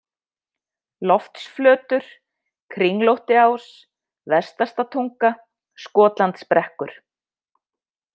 Loftsflötur, Kringlóttiás, Vestastatunga, Skotlandsbrekkur